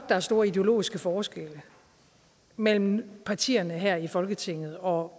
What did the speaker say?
der er store ideologiske forskelle mellem partierne her i folketinget og